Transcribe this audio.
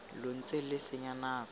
lo ntse lo senya nako